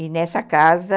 E nessa casa...